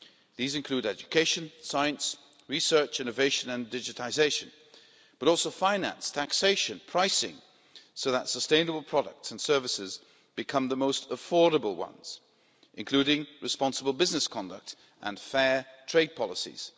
These include education, science, research, innovation and digitisation, as well as finance, taxation, pricing, so that sustainable products and services become the most affordable ones, including responsible business conduct and fair trade policies.